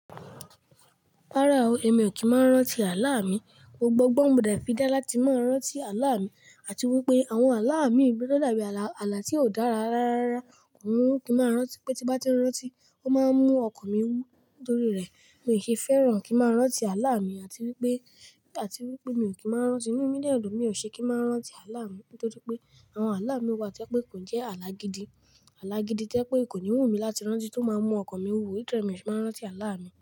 Rárá o, èmi ò kí máa rántí àlá mi. Gbogbo ọgbọn mo de fídán láti máa rántí àlá mi, àti wípé àwọn àlá mi lo da bí àlà, àlà tí ó dára ráárá. Òun kì í máa rántí pé tí bá ti ń rántí, ó máa ń mú ọkàn mi wú. Nítorí rẹ̀ mi ki fẹ́ràn kí n máa rántí àlá mi, àti wípé, àti wípé mi ò kí máa rántí. Ìnú mi dẹ́ dun bi mi ò ṣe kí máa rántí àlá mi. Nítorí pé àwọn àlá mi wà to jẹ pé kò ń jẹ́ àlá gidi. Àlá gidi to'je pé kò ní wù mí láti rántí tó máa ń mú ọkàn mi wúwo. Nítorí mi ò ṣe máa rántí àlá mi.